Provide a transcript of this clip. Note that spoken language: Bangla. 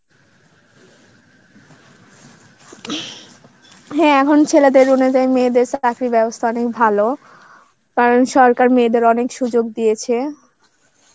হ্যাঁ এখন ছেলেদের অনুযায়ী মেয়েদের চাকরির ব্যবস্থা অনেক ভালো, কারণ সরকার মেয়েদের অনেক সুযোগ দিয়েছে.